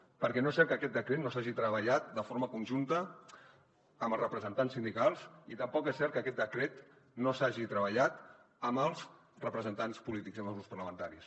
perquè no és cert que aquest decret no s’hagi treballat de forma conjunta amb els representants sindicals i tampoc és cert que aquest decret no s’hagi treballat amb els representants polítics i amb els grups parlamentaris